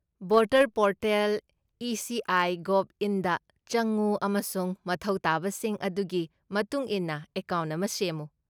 ꯚꯣꯇꯔꯄꯣꯔꯇꯦꯜ.ꯏꯁꯤꯑꯥꯏ.ꯒꯣꯕ.ꯏꯟ.ꯗ ꯆꯪꯎ ꯑꯃꯁꯨꯡ ꯃꯊꯧ ꯇꯥꯕꯁꯤꯡ ꯑꯗꯨꯒꯤ ꯃꯇꯨꯡ ꯏꯟꯅ ꯑꯦꯀꯥꯎꯟꯠ ꯑꯃ ꯁꯦꯝꯃꯨ ꯫